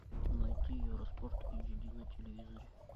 найти евроспорт эйч ди на телевизоре